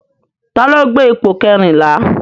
Ta ló gbé ipò kẹrìnlá?